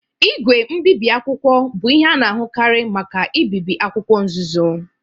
Igwe mbibi akwụkwọ bụ ihe a na-ahụkarị maka ibibi akwụkwọ nzuzo.